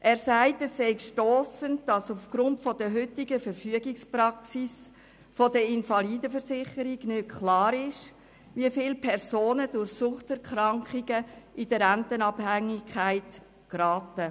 Er sagt, es sei stossend, dass aufgrund der heutigen Verfügungspraxis der IV nicht klar sei, wie viele Personen durch Suchterkrankungen in Rentenabhängigkeit geraten.